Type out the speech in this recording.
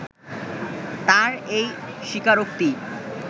তাঁর এই স্বীকারোক্তি